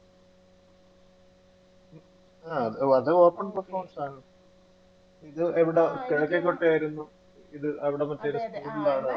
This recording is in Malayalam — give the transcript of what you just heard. ആ അത് open ഇത് അവിടെ ആയിരുന്നു ഇത് അവിടുന്ന്